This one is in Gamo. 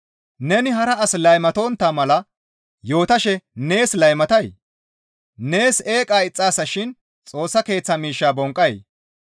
Neni hara asi laymatontta mala yootashe nees laymatay? Nees eeqa ixxaasa shin Xoossa Keeththa miishshaa bonqqay?